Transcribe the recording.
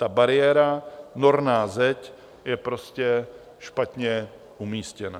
Ta bariéra, norná zeď, je prostě špatně umístěná.